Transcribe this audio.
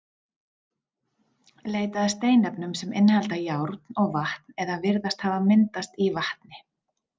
Leita að steinefnum sem innihalda járn og vatn eða virðast hafa myndast í vatni.